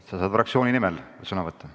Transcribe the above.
Sa saad fraktsiooni nimel sõna võtta.